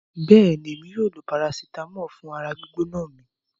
Bẹ́ẹ̀ni, mo máa lo parasitàmọ́ọ̀ fún ara gbígbóná mi.